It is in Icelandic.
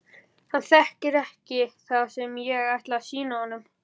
Hann þekkir ekki það sem ég ætla að sýna honum.